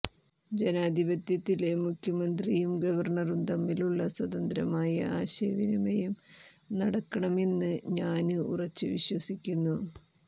ജനാധിപത്യത്തില് മുഖ്യമന്ത്രിയും ഗവര്ണറും തമ്മിലുളള സ്വതന്ത്രമായ ആശയവിനിമയം നടക്കണമെന്ന് ഞാന് ഉറച്ചുവിശ്വസിക്കുന്നു